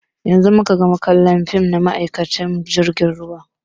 Yanzun muka gama kallon fim na ma'aikacin jirgin ruwa.